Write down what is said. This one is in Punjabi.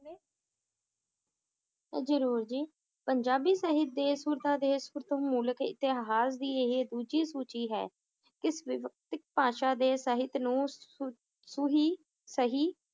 ਜਰੂਰ ਜੀ ਪੰਜਾਬੀ ਸਹਿਤ ਦੇ ਮੂਲਕ ਇਤਿਹਾਸ ਦੀ ਇਹ ਦੂਜੀ ਸੂਚੀ ਹੈ ਇਸ ਵਿਵਸਤਿਕ ਭਾਸ਼ਾ ਦੇ ਸਹਿਤ ਨੂੰ ਸੂ~ ਸੂਹੀ ਸਹੀ